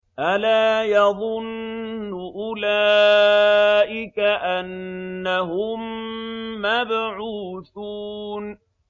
أَلَا يَظُنُّ أُولَٰئِكَ أَنَّهُم مَّبْعُوثُونَ